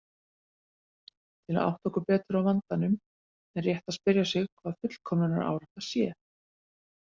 Til að átta okkur betur á vandanum er rétt að spyrja sig hvað fullkomnunarárátta sé.